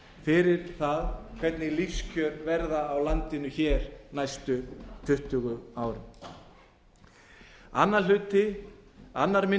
fyrir það hvernig lífskjör verða á landinu hér næstu tuttugu árin annar minni